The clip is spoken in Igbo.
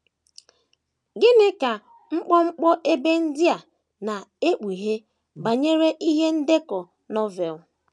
Gịnị ka mkpọmkpọ ebe ndị a na - ekpughe banyere ihe ndekọ Novel?